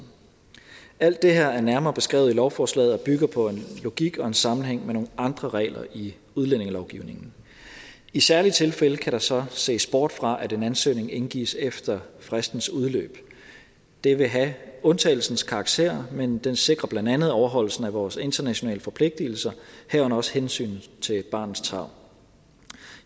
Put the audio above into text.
alt det her er nærmere beskrevet i lovforslaget og bygger på en logik og en sammenhæng med nogle andre regler i udlændingelovgivningen i særlige tilfælde kan der så ses bort fra at en ansøgning indgives efter fristens udløb det vil have undtagelsens karakter men det sikrer blandt andet overholdelsen af vores internationale forpligtelser herunder også hensynet til barnets tarv